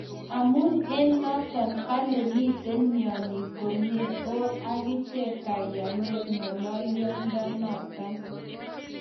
amun en natong, kale miten mianig komyee , oo igachin kayanet ngolyondonaton